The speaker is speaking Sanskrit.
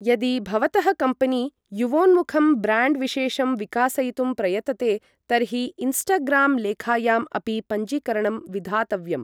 यदि भवतः कम्पेनी युवोन्मुखं ब्र्याण्ड् विशेषं विकासयितुं प्रयतते तर्हि इन्स्टाग्राम् लेखायाम् अपि पञ्जीकरणं विधातव्यम्।